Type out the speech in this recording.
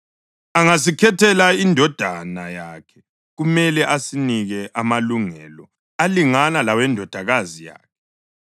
Angasikhethela indodana yakhe kumele asinike amalungelo alingana lawendodakazi yakhe.